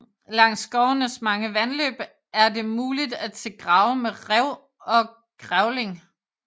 Langs skovenes mange vandløb er det muligt at se grave med ræv og grævling